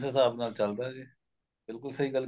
ਹਿਸਾਬ ਨਾਲ ਚੱਲਦਾ ਜੇ ਬਿਲਕੁਲ ਸਹੀ ਗੱਲ